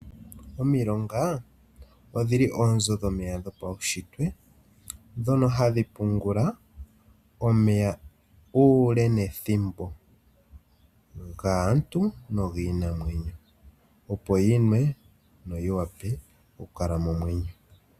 Omilonga odhili oonzo dhomeya dhopaushitwe ndhono hadhi pungula omeya uule nethimbo gaantu nogiinamwenyo, opo yimwe yo yi vule oku kala momwenyo.